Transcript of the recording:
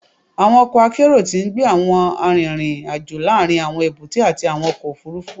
Awọn ọkọ akero ti ngbe awọn arinrin-ajo laarin awọn ebute ati awọn ọkọ ofurufu